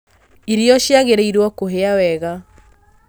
Irio ciagĩrĩirwo kũhĩa wega